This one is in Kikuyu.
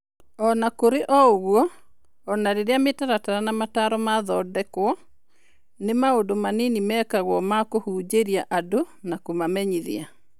O na kũrĩ ũguo, o na rĩrĩa mĩtaratara na motaaro mathondekwo, nĩ maũndũ manini mekagwo ma kũhunjĩria andũ na kũmamenyithia.